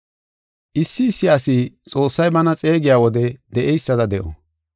Issi issi asi Xoossay bana xeegiya wode de7eysada de7o.